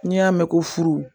N'i y'a mɛn ko furu